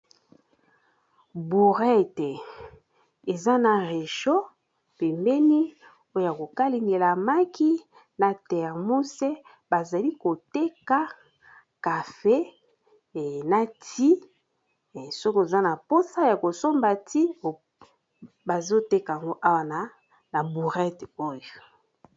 Bourette eza na réchaud pembeni oya ko kalingela maki na thermose, bazali koteka cafe e na ti soki oza na mposa ya kosomba ti bazo teka ngo awa na bourette oyo.